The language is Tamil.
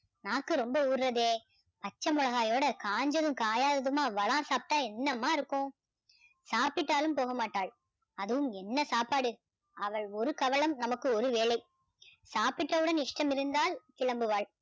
நாக்கு ரொம்ப ஊர்றதே பச்சை மிளகாயோட காஞ்சதும் காயாயதுமா வடா சாப்பிட்டா என்னம்மா இருக்கும் சாப்பிட்டாலும் போகமாட்டாள் அதுவும் என்ன சாப்பாடு அவள் ஒரு கவளம் நமக்கு ஒரு வேளை சாப்பிட்டவுடன் இஷ்டம் இருந்தால் கிளம்புவாள்